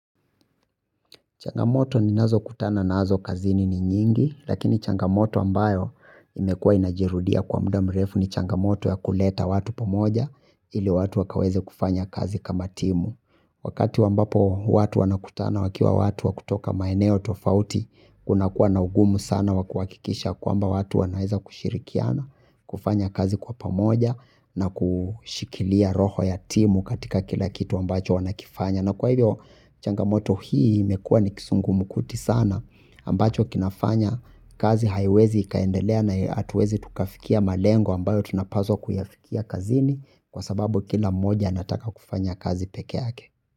Changamoto ninazokutana nazo kazini ni nyingi lakini changamoto ambayo imekuwa inajirudia kwa muda mrefu ni changamoto ya kuleta watu pamoja ili watu wakaweze kufanya kazi kama timu. Wakati ambapo watu wanakutana wakiwa watu wa kutoka maeneo tofauti kunakuwa na ugumu sana wakuhakikisha kwamba watu wanaweza kushirikiana kufanya kazi kwa pamoja na kushikilia roho ya timu katika kila kitu ambacho wanakifanya. Na kwa hivyo changamoto hii imekua ni kizungumkuti sana ambacho kinafanya kazi haiwezi ikaendelea na hatuwezi tukafikia malengo ambayo tunapaswa kuyafikia kazini kwa sababu kila mmoja anataka kufanya kazi peke yake.